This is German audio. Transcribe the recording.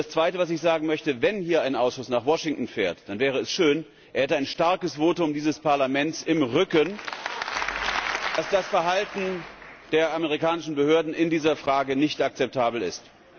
Und das zweite, was ich sagen möchte Wenn hier ein Ausschuss nach Washington fährt, dann wäre es schön, wenn er ein starkes Votum dieses Parlaments im Rücken hätte, dass das Verhalten der amerikanischen Behörden in dieser Frage nicht akzeptabel ist.